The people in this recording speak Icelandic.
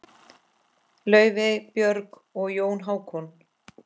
Laufey, Björg og Jón Hákon.